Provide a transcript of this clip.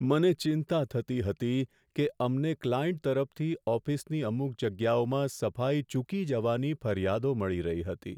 મને ચિંતા થતી હતી કે અમને ક્લાયન્ટ તરફથી ઓફિસની અમુક જગ્યાઓમાં સફાઈ ચૂકી જવાની ફરિયાદો મળી રહી હતી.